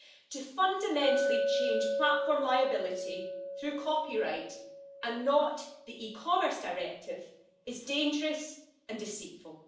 To fundamentally change platform liability through copyright and not the e-Commerce Directive is dangerous and deceitful.